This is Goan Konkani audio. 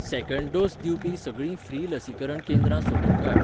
सेकँड डोस दिवपी सगळीं फ्री लसीकरण केंद्रां सोदून काड.